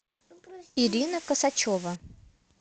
ирина косачева